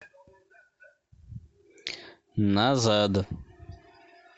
назад